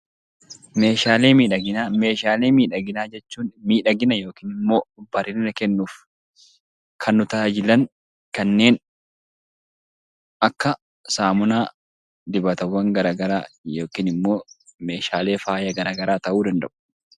Meeshaalee miidhaginaa jechuun miidhagina yookiin immoo bareedina kennuuf kan nu tajaajilan kanneen akka saamunaa, dibatawwan gara garaa yookiin immoo meeshaalee faaya gara garaa ta'uu danda'u.